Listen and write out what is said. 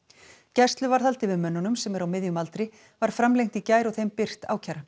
gæsluvarðhald yfir mönnunum sem eru á miðjum aldri var framlengt í gær og þeim birt ákæran